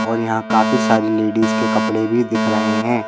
और यहां काफी सारी लेडिस के कपड़े भी दिख रहे हैं।